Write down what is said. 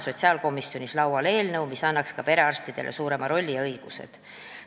Sotsiaalkomisjonis on laual eelnõu, mis annaks ka perearstidele suurema rolli ja suuremad õigused.